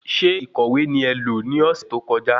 Ṣé ìkọ̀wé ni ẹ lo ni ọsẹ tó kọjá?